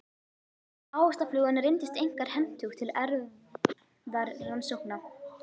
Ávaxtaflugan reyndist einkar hentug til erfðarannsókna.